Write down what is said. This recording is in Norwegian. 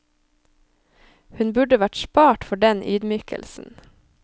Hun burde vært spart for den ydmykelsen.